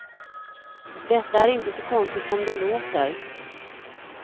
Detta är inte så konstigt som det låter.